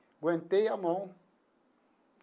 Aguentei a mão.